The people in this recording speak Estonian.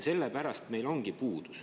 Sellepärast meil ongi puudus.